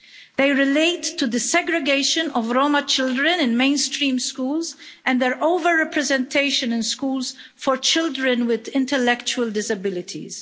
They relate to the segregation of Roma children in mainstream schools and their over-representation in schools for children with intellectual disabilities.